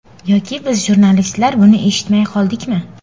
Yoki biz jurnalistlar buni eshitmay qoldikmi?